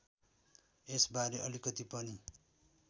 यसबारे अलिकति पनि